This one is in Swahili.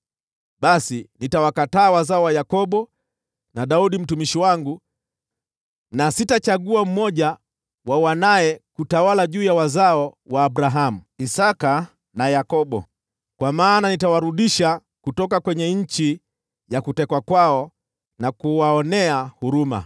basi nitawakataa wazao wa Yakobo na Daudi mtumishi wangu, na sitachagua mmoja wa wanawe kutawala juu ya wazao wa Abrahamu, Isaki na Yakobo. Kwa maana nitawarudisha kutoka nchi ya kutekwa kwao na kuwaonea huruma.’ ”